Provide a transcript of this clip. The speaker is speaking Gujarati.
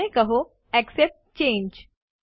અને કહો એક્સેપ્ટ ચાંગે